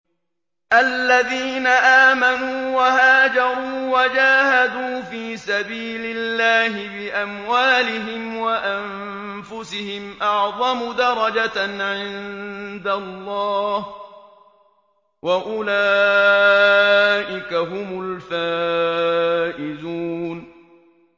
الَّذِينَ آمَنُوا وَهَاجَرُوا وَجَاهَدُوا فِي سَبِيلِ اللَّهِ بِأَمْوَالِهِمْ وَأَنفُسِهِمْ أَعْظَمُ دَرَجَةً عِندَ اللَّهِ ۚ وَأُولَٰئِكَ هُمُ الْفَائِزُونَ